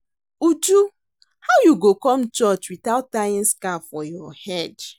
Uju how you go come church without tying scarf for your head?